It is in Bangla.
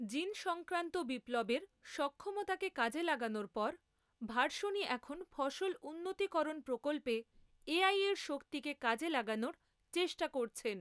জিনসংক্রান্ত বিপ্লবের সক্ষমতাকে কাজে লাগানোর পর ভার্শনি এখন ফসল উন্নতিকরণ প্রকল্পে এ.আইয়ের শক্তিকে কাজে লাগানোর চেষ্টা করছেন।